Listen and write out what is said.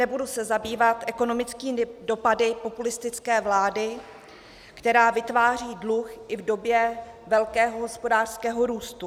Nebudu se zabývat ekonomickými dopady populistické vlády, která vytváří dluh i v době velkého hospodářského růstu.